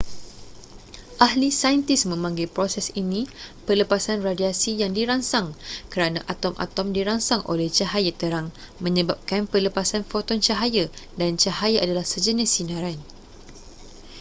ahli saintis memanggil proses ini pelepasan radiasi yang dirangsang kerana atom-atom dirangsang oleh cahaya terang menyebabkan pelepasan foton cahaya dan cahaya adalah sejenis sinaran